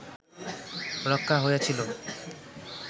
রক্ষা হইয়াছিল